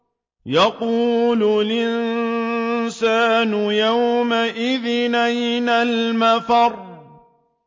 يَقُولُ الْإِنسَانُ يَوْمَئِذٍ أَيْنَ الْمَفَرُّ